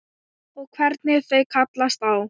Og hvernig þau kallast á.